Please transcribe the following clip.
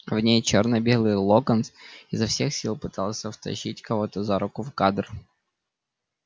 на ней чёрно-белый локонс изо всех сил пытался втащить кого-то за руку в кадр